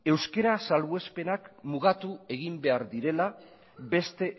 euskara salbuespenak mugatu egin behar direla beste